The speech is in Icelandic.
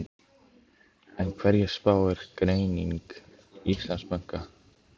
En hverju spáir greining Íslandsbanka?